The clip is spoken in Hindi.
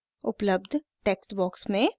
उपलब्ध टेक्स्ट बॉक्स में